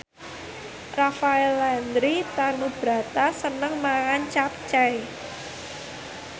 Rafael Landry Tanubrata seneng mangan capcay